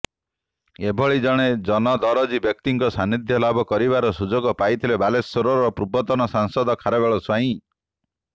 ଏଭଳିି ଜଣେ ଜନଦରଦୀ ବ୍ୟକ୍ତିଙ୍କ ସାନ୍ନିଧ୍ୟ ଲାଭ କରିବାର ସୁଯୋଗ ପାଇଥିଲେ ବାଲେଶ୍ୱରର ପୂର୍ବତନ ସାଂସଦ ଖାରବେଳ ସ୍ୱାଇଁ